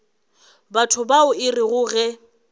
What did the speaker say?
batho bao e rego ge